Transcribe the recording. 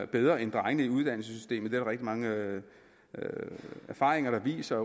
bedre end drengene i uddannelsessystemet er rigtig mange erfaringer der viser